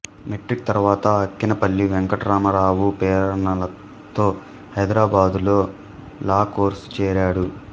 metric తరువాత అక్కినేపల్లి వెంకటరామారావు ప్రేరణతో హైదరాబాదులో లా కోర్సులో చేరాడు